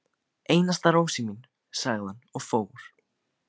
Einasta rósin mín, sagði hann og fór.